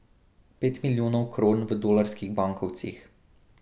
Pet milijonov kron v dolarskih bankovcih.